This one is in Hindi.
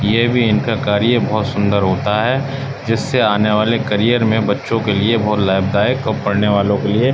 यह भी इनका कार्य बहुत सुंदर होता है जिससे आने वाले करियर में बच्चों के लिए बहुत लाभदायक और पढ़ने वालों के लिए --